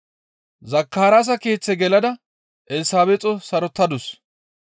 Zakaraasa keeththe gelada Elsabeexo sarotadus.